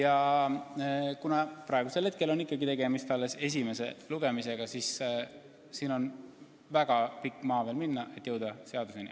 Aga praegusel hetkel on ikkagi tegemist alles esimese lugemisega ja meil on veel väga pikk maa minna, et jõuda seaduseni.